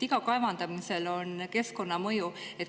Igal kaevandamisel on keskkonnamõju.